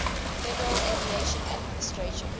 federal aviation administration